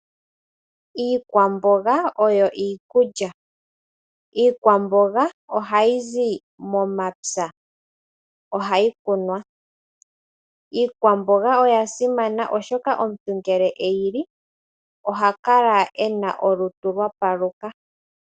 Iikwamboga oyo iikulya. Iikwamboga ohayi zi momapya, ohayi kunwa. Iikwamboga oya simana oshoka omuntu ngele eyili oha kala ena olutu lwapaluka.